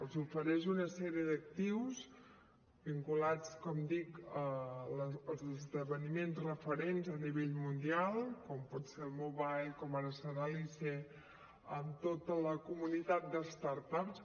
els ofereix una sèrie d’actius vinculats com dic als esdeveniments referents a nivell mundial com pot ser el mobile com ara serà l’ise amb tota la comunitat de start ups